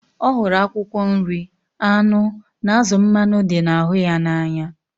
Ọ hụrụ akwụkwọ nri, anụ na azụ mmanụ dị na ahụ ya na anya